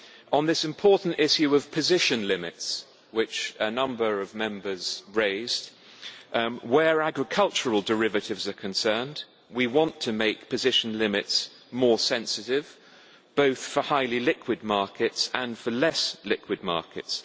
On the important issue of position limits, which a number of Members raised, where agricultural derivatives are concerned we want to make position limits more sensitive, both for highly liquid markets and for less liquid markets.